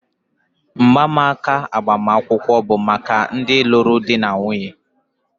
mgbanaka agbamakwụkwọ bụ maka ndị lụrụ di na nwunye